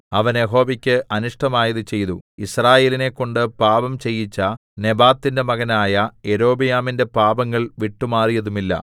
അവൻ യഹോവക്കു അനിഷ്ടമായത് ചെയ്തു യിസ്രായേലിനെക്കൊണ്ട് പാപം ചെയ്യിച്ച നെബാത്തിന്റെ മകനായ യൊരോബെയാമിന്റെ പാപങ്ങൾ വിട്ടുമാറിയതുമില്ല